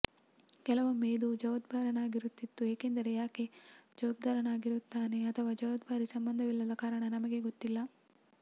ಕೆಲವೊಮ್ಮೆ ಇದು ಜವಾಬ್ದಾರನಾಗಿರುತ್ತಿತ್ತು ಏಕೆಂದರೆ ಯಾಕೆ ಜವಾಬ್ದಾರನಾಗಿರುತ್ತಾನೆ ಅಥವಾ ಜವಾಬ್ದಾರಿ ಸಂಬಂಧವಿಲ್ಲದ ಕಾರಣ ನಮಗೆ ಗೊತ್ತಿಲ್ಲ